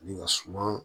Ni ka suma